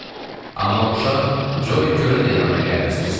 Amma uşaq Coli Körün də yanına gəlməsini istəyirdi.